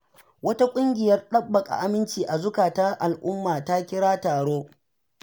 Wata ƙungiyar ɗabbaka aminci a zukatan al'umma ta kira taro.